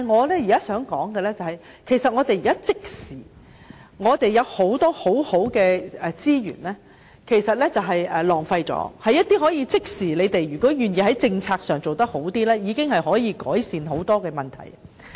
但是，我現在想說的是，我們有很多很好的資源都被浪費了，如果政府願意在政策上做好一點，其實已經能夠即時改善很多問題。